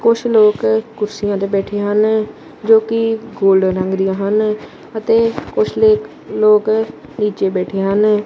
ਕੁਛ ਲੋਕ ਕੁਰਸੀਆਂ ਤੇ ਬੈਠੇ ਹਨ ਜੋ ਕਿ ਗੋਲਡਨ ਰੰਗ ਦੀਆਂ ਹਨ ਅਤੇ ਕੁਝ ਲੇਕ ਲੋਕ ਨੀਚੇ ਬੈਠੇ ਹਨ।